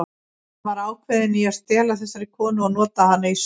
Hann var ákveðinn í að stela þessari konu og nota hana í sögu.